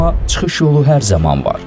Amma çıxış yolu hər zaman var.